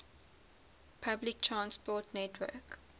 public transport network